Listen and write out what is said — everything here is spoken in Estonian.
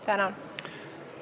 Tänan!